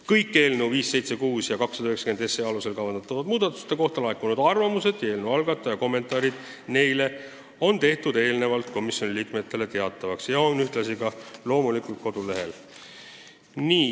Kõik eelnõude 576 ja 290 alusel kavandatud muudatuste kohta laekunud arvamused ja eelnõu algataja kommentaarid neile olid komisjoni liikmetele eelnevalt teatavaks tehtud ja loomulikult on need väljas ka kodulehel.